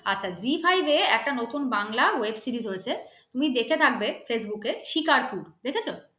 আচ্ছা Zee 5 একটা নতুন বাংলা web series হয়েছে তুমি দেখে থাকবে facebook শিকারপুর দেখেছো?